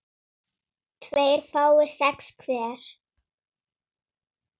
tveir fái sex hver